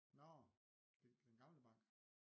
Nårh den gamle bank